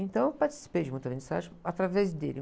Então, eu participei de muita vernissage através dele.